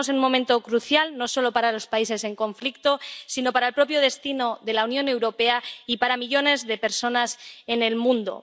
Estamos en un momento crucial no solo para los países en conflicto sino para el propio destino de la Unión Europea y para millones de personas en el mundo.